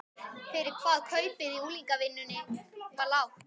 Vertu bara þakklátur fyrir hvað kaupið í unglingavinnunni var lágt.